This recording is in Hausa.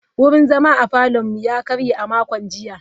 Wurin zama a parlourn mu ya karye a makon jiya.